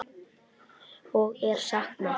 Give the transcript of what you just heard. Og er saknað.